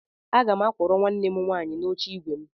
Aga m akwọrọ nwanne m nwaanyị n'oche ígwè m.